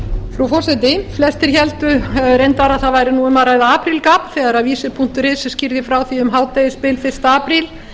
frú forseti flestir héldu reyndar að það væri um að ræða aprílgabb þegar visir punktur is skýrði frá því um hádegisbil fyrsta apríl